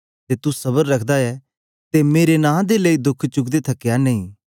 ते तू सबर रखदा ऐ ते मेरे नां दे लेई दोख चुकदे थकया नेई